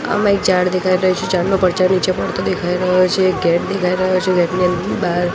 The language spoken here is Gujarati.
આમા એક ઝાડ દેખાય રહ્યુ છે ઝાડનો પરચયો નીચે પડતો દેખાય રહ્યો છે ગેટ દેખાય રહ્યો છે ગેટ ની બાર--